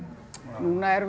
núna erum við